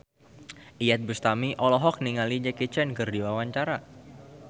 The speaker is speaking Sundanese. Iyeth Bustami olohok ningali Jackie Chan keur diwawancara